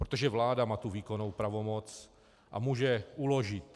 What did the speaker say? Protože vláda má tu výkonnou pravomoc a může uložit.